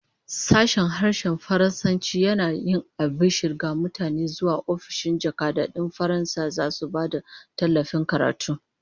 Sashen Harshen Faransanci yana yin albishir ga mutane cewa ofishin jakadancin Faransa zasu ba da tallafin karatu